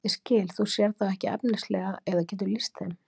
Ég skil, þú sérð þá ekki efnislega eða getur lýst þeim?